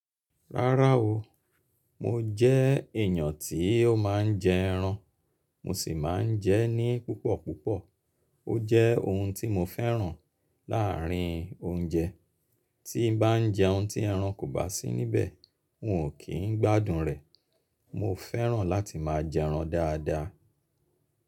Rárá o, mo jẹ́ èyàn tí ó máa ń jẹ ẹran, mo sì máa ń jẹ ní púpọ̀púpọ̀. Ó jẹ́ ohun tí mo fẹ́ràn láàárín oúnjẹ. Tí bá jẹ́un tí ẹran kò bá sí níbẹ̀, n ò kí n gbádùn rẹ̀. Mo fẹ́ràn láti máa jẹ ẹran dáadáa.